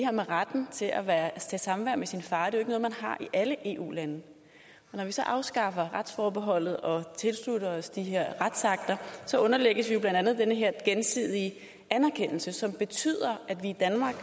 her med retten til at have samvær med sin far ikke noget man har i alle eu lande og når vi så afskaffer retsforbeholdet og tilslutter os de her retsakter underlægges vi blandt andet den her gensidige anerkendelse som betyder at vi